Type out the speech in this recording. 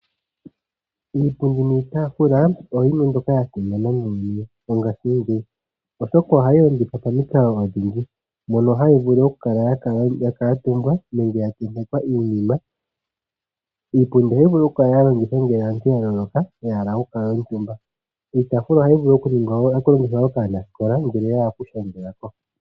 Iipundi niitafula oyo yimwe mbyoka ya simana muuyuni mongaashingeyi ,oshoka ohayi longithwa momukalo odhindji mono hayi vulu okukala ya kuutumbwa nenge ya tentekwa iinima . Iipundi ohayi vulu oku kala ya longithwa ngele aantu yavulwa ya hala oku kuutumba. Iitaafula ohayi vulu woo okulongithwa kaanasikola ngele yahala okushangelako.